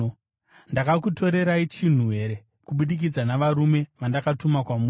Ndakakutorerai chinhu here kubudikidza navarume vandakatuma kwamuri?